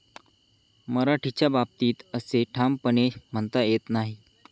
मराठीच्या बाबतीत असे ठामपणे म्हणता येत नाही.